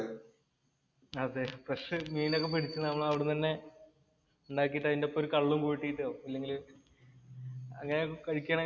അതേ, ഫ്രഷ്‌ മീനൊക്കെ പിടിച്ച് നമ്മൾ അവിടുന്ന് തന്നെ ഉണ്ടാക്കീട്ടു ഒരു കള്ളും കൂട്ടിയിട്ടോ എന്തെങ്കിലു അങ്ങനെ കഴിക്കുകയാണെങ്കില്‍